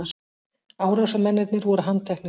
Árásarmennirnir voru handteknir